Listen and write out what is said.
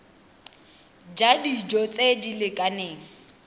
ja dijo tse di lekaneng